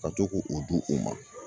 Ka to k'o o di o ma.